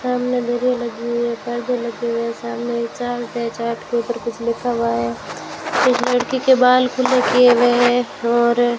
सामने लगी है पर्दे लगे हुए है सामने चार्ट है चार्ट के ऊपर कुछ लिखा हुआ है इस लड़की के बाल खुले किए हुए हैं और --